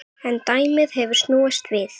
En dæmið hefur snúist við.